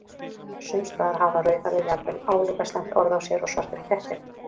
Sums staðar hafa rauðhærðir jafnvel álíka slæmt orð á sér og svartir kettir.